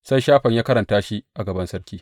Sai Shafan ya karanta shi a gaban sarki.